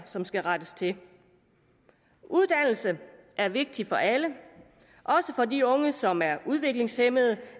som skal rettes til uddannelse er vigtig for alle også for de unge som er udviklingshæmmede